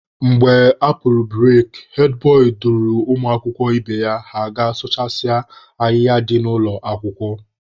Mgbe a pụrụ bureki, hed bọị duru ụmụakwụkwọ ibe ya ha gaa sụchasịa ahịhịa dị n'ụlọ akwụkwọ.